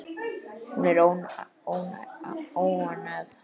Hún er óánægð.